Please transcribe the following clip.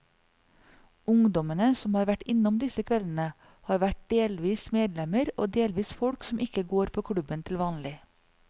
Ungdommene som har vært innom disse kveldene, har vært delvis medlemmer og delvis folk som ikke går på klubben til vanlig.